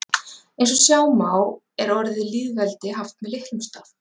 eins og sjá má er orðið lýðveldi haft með litlum staf